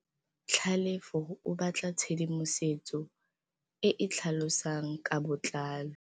Tlhalefô o batla tshedimosetsô e e tlhalosang ka botlalô.